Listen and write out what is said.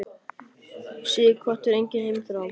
Sighvatur: Engin heimþrá?